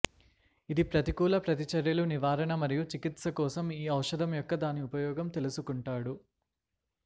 ఇది ప్రతికూల ప్రతిచర్యలు నివారణ మరియు చికిత్స కోసం ఈ ఔషధం యొక్క దాని ఉపయోగం తెలుసుకుంటాడు